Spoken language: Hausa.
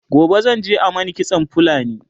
gobe zan je a Mani kitsan fulani